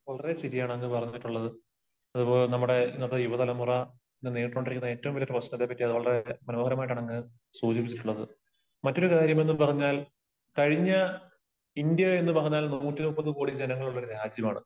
വളരെ ശരിയാണ് അങ്ങ് പറഞ്ഞിട്ടുള്ളത്. അത് പോലെ നമ്മുടെ ഇന്നത്തെ യുവ തലമുറ ഇന്നു നേരിട്ടുകൊണ്ടിരിക്കുന്ന ഏറ്റവും വലിയ പ്രശ്നത്തെ പറ്റി വളരെ മനോഹരമായിട്ടാണ് അങ്ങ് സൂചിപ്പിച്ചിട്ടുള്ളത്. മറ്റൊരു കാര്യമെന്ന് പറഞ്ഞാൽ, കഴിഞ്ഞ, ഇന്ത്യ എന്ന് പറഞ്ഞാൽ നൂറ്റി മുപ്പത് കോടി ജനങ്ങൾ ഉള്ള ഒരു രാജ്യമാണ്.